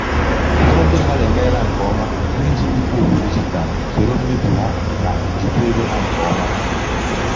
ụfọdụ ndi mmadụ emeela nke ọma n’iji ikpo okwu dijitalụ soro mmefu ha na jikwaa ego ha nke ọma.